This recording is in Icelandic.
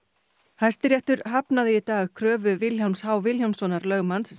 Hæstiréttur hafnaði í dag kröfu Vilhjálms h Vilhjálmssonar lögmanns